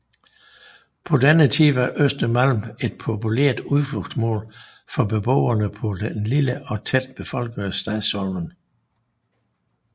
På denne tid var Östermalm et populært udflugtsmål for beboerne på den lille og tæt befolkede Stadsholmen